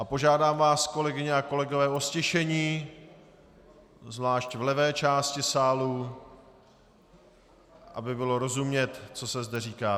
A požádám vás, kolegyně a kolegové, o ztišení, zvlášť v levé části sálu, aby bylo rozumět, co se zde říká.